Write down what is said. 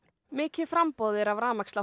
mikið framboð er af